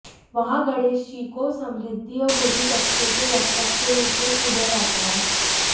वहां गणेशजी को समृद्धि और बुरी शक्तियों के रक्षक के रूप में पूजा जाता है